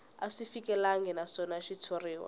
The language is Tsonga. a swi fikelelangi naswona xitshuriwa